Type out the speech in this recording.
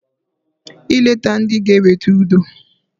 I leta ndị g'eweta udo.